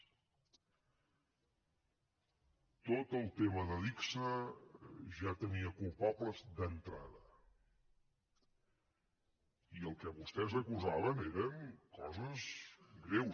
tot el tema d’adigsa ja tenia culpables d’entrada i el que vostès acusaven eren coses greus